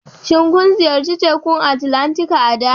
Shin kun ziyarci Tekun Atlantika a da?